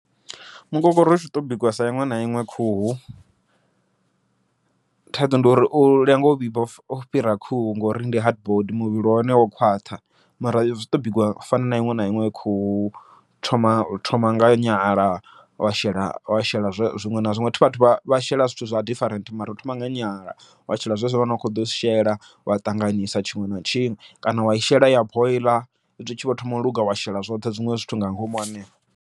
Mukokoroshi uto bikiwa sa iṅwe na iṅwe khuhu, thaidzo ndi uri u lenga u vhibva u fhira khuhu ngori ndi hard body muvhili wahone wo khwaṱha, mara zwi to bikiwa u fana na iṅwe na iṅwe khuhu hu thoma hu thoma nga nyala, wa shela wa shela zwiṅwe na zwiṅwe vhathu vha shela zwithu zwa different. Mara hu thoma nga nyala wa shela zwezwo zwane wa kho ḓo zwi shela wa ṱanganisa tshiṅwe na tshiṅwe, kana wai shela ya boiḽa hezwi i tshi vho thoma u luga wa shela zwoṱhe zwiṅwe zwithu nga ngomu hanefho.